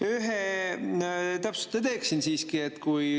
Ühe täpsustuse teeksin siiski.